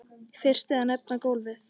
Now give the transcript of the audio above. Fyrst er að nefna golfið.